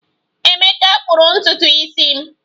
Emeka kpụrụ ntutu isi m